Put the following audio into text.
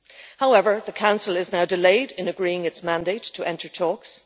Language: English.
However, the Council is now delayed in agreeing its mandate to enter talks.